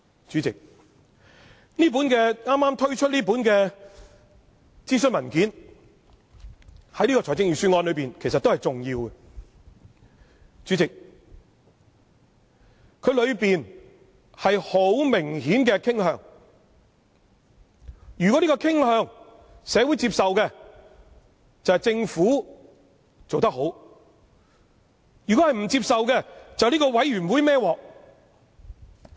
主席，這份剛推出的諮詢文件對於這份預算案也是很重要的，而當中有很明顯的傾向，如果有關的傾向獲社會接受，便是政府做得好；如果不獲接受，便由這個委員會"揹鑊"。